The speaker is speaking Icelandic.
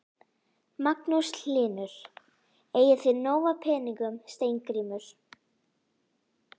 Magnús Hlynur: Eigið þið nóg af peningum Steingrímur?